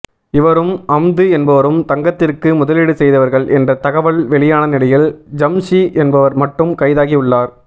இவரும் அம்து என்பவரும் தங்கத்திற்கு முதலீடு செய்தவர்கள் என்ற தகவல் வெளியான நிலையில் ஷம்ஜூ என்பவர் மட்டும் கைதாகி உள்ளார்